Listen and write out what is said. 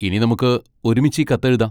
ഇനി നമുക്ക് ഒരുമിച്ച് ഈ കത്ത് എഴുതാം.